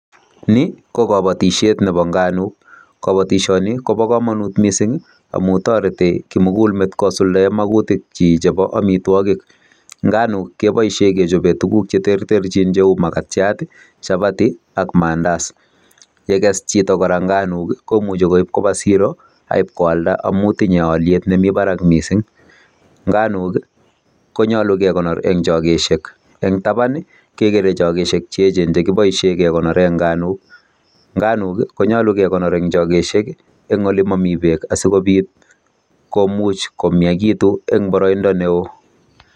Ni ko kobotishiet nebo nganuk, kobotishoni koboo komonut kot missing amun toretii kimugul meet kosuldaen makutikchik chebo amitwogiik. Nganuk keboishien kechoben tuguuk che terterchin cheu makatiat, chapati aak mandazi. Yeges chito kora nganuk komuche koib koba siro, in koalda amun tinge oliet nemi barak kot missing. Nganuk i konyolu kekonor en chogesiek, en taban kechobe chogoisiek che echen chekiboishien kekonoren nganuk. Nganuk konyolu kekonoor en chogoosiek en olemomii beek asikobit komiakitun en boroindo newoo.